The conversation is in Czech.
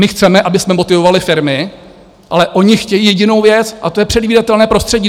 My chceme, abychom motivovali firmy, ale ony chtějí jedinou věc a to je předvídatelné prostředí.